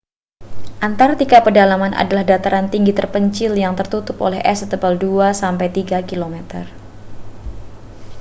antarktika pedalaman adalah dataran tinggi terpencil yang tertututup oleh es setebal 2-3 km